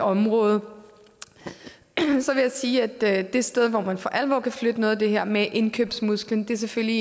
område så vil jeg sige at det sted hvor man for alvor kan flytte noget af det her med indkøbsmusklen selvfølgelig